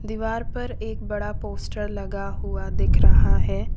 दीवार पर एक बड़ा पोस्टर लगा हुआ दिख रहा है।